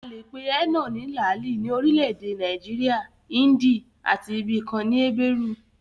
A le pe énà ní làálì ní orile-èdè Nàìjíríà, índì àti ibi kan ní ébérù